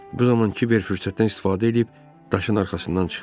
Bu zaman Kiber fürsətdən istifadə eləyib daşın arxasından çıxdı.